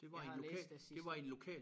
Jeg har læst det sidste